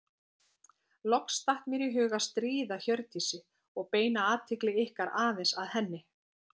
Loks datt mér í hug að stríða Hjördísi og beina athygli ykkar aðeins að henni.